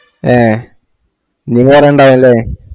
അഹ് ഇനിവേറെണ്ടാവും ല്ലേ